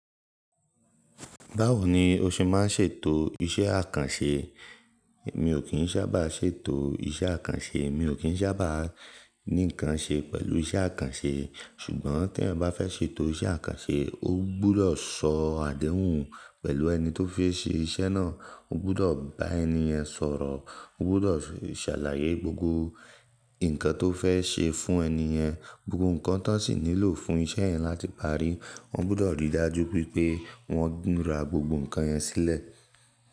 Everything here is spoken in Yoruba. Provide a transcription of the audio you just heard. Báwo ni o ṣe má ń ṣètò iṣẹ́ àkànṣe? Mi ò kín sábà ṣètò iṣẹ́ àkànṣe. Mi ò kín ṣábà ní nǹkan ṣe pẹ̀lú iṣẹ́ àkànṣe. Ṣùgbọ́n tí èèyàn bá fẹ́ ṣètò iṣẹ́ àkànṣe, ó gbọ́dọ̀ sọ àdéhùn pẹ̀lú ẹni tó fi ṣe iṣẹ́ náà. Ó gbọ́dọ̀ bá ẹni yẹn sọ̀rọ̀. Ó gbọ́dọ̀ ṣàlàyé gbogbo nǹkan tó fẹ́ ṣe fún ẹni yẹn, gbogbo nǹkan tán sì nílò fún iṣẹ́ yẹn láti parí. Wọ́n gbọ́dọ̀ rí i dájú wipé wọ́n ra gbogbo nǹkan yẹn sílẹ̀.